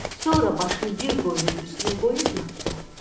Sonra başını bir qoyunun üstünə qoyub yatdı.